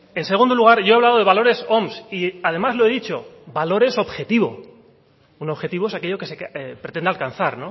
en segundo lugar yo he hablado de valores oms y además lo he dicho valores objetivo un objetivo es aquello que se pretende alcanzar